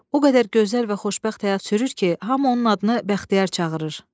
O qədər gözəl və xoşbəxt həyat sürür ki, hamı onun adını Bəxtiyar çağırır."